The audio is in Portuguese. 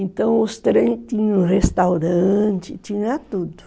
Então os trens tinham restaurante, tinha tudo.